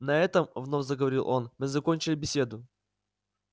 на этом вновь заговорил он мы закончили беседу